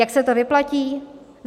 Jak se to vyplatí?